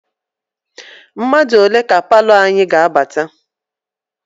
Mmadụ ole ka palọ anyị ga-abata?